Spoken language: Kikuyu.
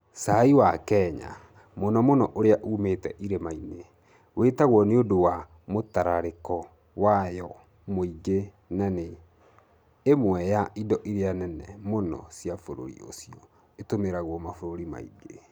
Chai ya Kenya, mũno mũno ĩrĩa yumĩte irĩma-inĩ, ĩĩtagwo nĩ ũndũ wa mũtararĩko wayo mũingĩ na nĩ ĩmwe ya indo iria nene mũno cia bũrũri ũcio ĩtumagĩrwo mabũrũri mangĩ.